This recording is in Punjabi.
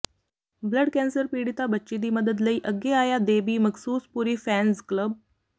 ਬਲੱਡ ਕੈਂਸਰ ਪੀੜਿਤਾ ਬੱਚੀ ਦੀ ਮਦਦ ਲਈ ਅੱਗੇ ਆਇਆ ਦੇਬੀ ਮਖਸੂਸਪੁਰੀ ਫੈਨਜ਼ ਕਲੱਬ